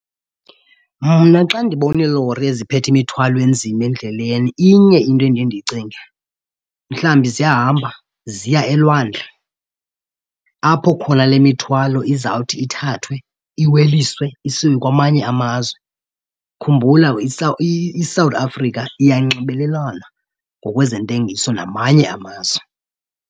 Mna xa ndibona iilori eziphethe imithwalo enzima endleleni inye into endiye ndiyicinge, mhlawumbi ziyahamba ziya elwandle apho khona le mithwalo izawuthi ithathwe iweliswe isiwe kwamanye amazwe. Khumbula iSouth Africa iyanxibelelana ngokwezentengiso namanye amazwe.